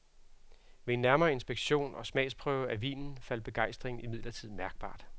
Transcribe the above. Ved en nærmere inspektion og smagsprøve af vinen faldt begejstringen imidlertid mærkbart.